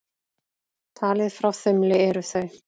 Talið frá þumli eru þau